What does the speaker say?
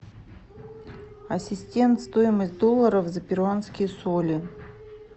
ассистент стоимость доллара за перуанские соли